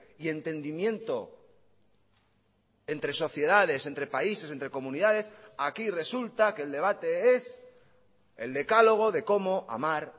y entendimiento entre sociedades entre países entre comunidades aquí resulta que el debate es el decálogo de cómo amar